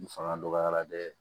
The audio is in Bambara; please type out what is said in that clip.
N fanga dɔgɔyara dɛ